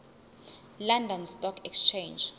london stock exchange